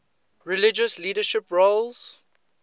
religious leadership roles